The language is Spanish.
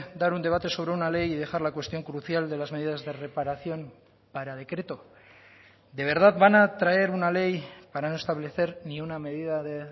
dar un debate sobre una ley y dejar la cuestión crucial de las medidas de reparación para decreto de verdad van a traer una ley para no establecer ni una medida de